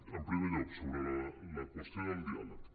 en primer lloc sobre la qüestió del diàleg